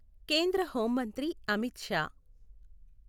కేంద్ర హోం మంత్రి అమిత్ షా